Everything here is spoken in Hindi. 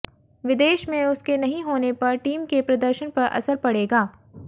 विदेश में उसके नहीं होने का टीम के प्रदर्शन पर असर पड़ेगा